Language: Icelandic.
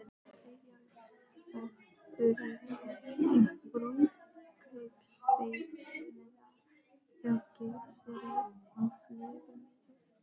Eyjólfs og Þuríðar, í brúðkaupsveisluna hjá Gissuri á Flugumýri.